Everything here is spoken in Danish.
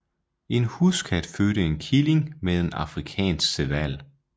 En huskat fødte en killing med en afrikansk serval